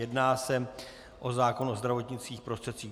Jedná se o zákon o zdravotnických prostředcích.